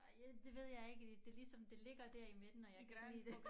Og jeg det ved jeg ikke øh det ligesom det ligger dér i midten og jeg kan fordi det